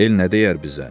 El nə deyər bizə?